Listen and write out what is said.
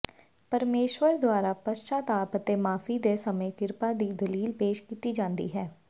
ਪਰਮੇਸ਼ਰ ਦੁਆਰਾ ਪਸ਼ਚਾਤਾਪ ਅਤੇ ਮਾਫ਼ੀ ਦੇ ਸਮੇਂ ਕਿਰਪਾ ਦੀ ਦਲੀਲ ਪੇਸ਼ ਕੀਤੀ ਜਾਂਦੀ ਹੈ